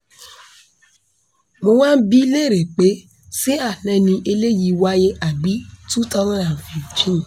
mo wáá ń bi í léèrè pé ṣé àná ni eléyìí wáyé àbí twenty fifteen